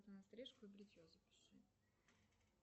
на стрижку и бритье запиши